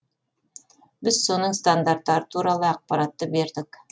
біз соның стандарттары туралы ақпаратты бердік